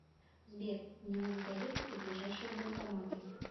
сбер мне надо доехать до ближайшего банкомата